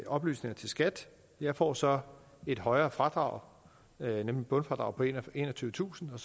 oplysningerne til skat jeg får så et højere fradrag nemlig bundfradraget på enogtyvetusind